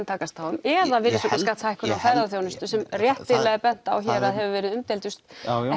takast á um eða virðisaukaskattshækkun á ferðaþjónustu sem réttilega er bent á hér að hefur verið umdeildust og